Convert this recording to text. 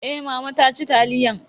Eh mama ta ci taliyan.